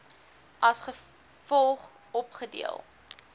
as volg opgedeel